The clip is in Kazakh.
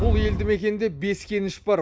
бұл елді мекенде бес кеніш бар